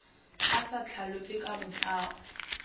a sa hlalope ka botlao